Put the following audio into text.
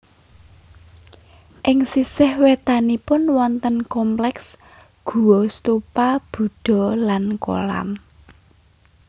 Ing sisih wétanipun wonten kompleks guwa stupa Budha lan kolam